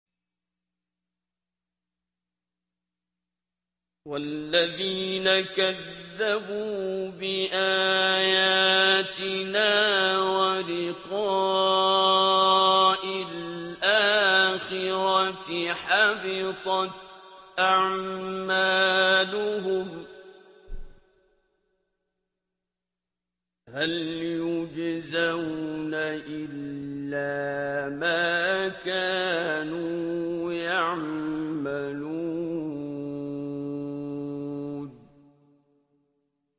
وَالَّذِينَ كَذَّبُوا بِآيَاتِنَا وَلِقَاءِ الْآخِرَةِ حَبِطَتْ أَعْمَالُهُمْ ۚ هَلْ يُجْزَوْنَ إِلَّا مَا كَانُوا يَعْمَلُونَ